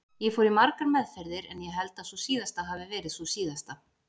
Ég fór í margar meðferðir en ég held að sú síðasta hafi verið sú síðasta.